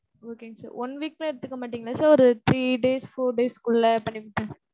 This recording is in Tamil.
Okay ங்க sir. one week லாம் எடுத்துக்க மாட்டீங்கல sir, ஒரு three days, four days குள்ள பண்ணி முடிச்சிருங்க.